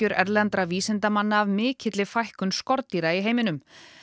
erlendra vísindamanna af mikilli fækkun skordýra í heiminum